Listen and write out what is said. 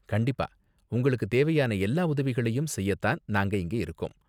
கண்டிப்பா! உங்களுக்கு தேவையான எல்லா உதவிகளையும் செய்ய தான் நாங்க இங்க இருக்கோம்.